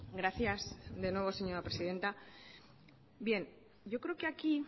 gracias de nuevo señora presidenta yo creo que aquí